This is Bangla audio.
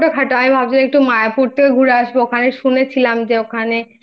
ওটা তো ছোট খাটো আমি ভাবছিলাম একটু মায়াপুর থেকে ঘুরে আসব ওখানে শুনেছিলাম যে ওখানে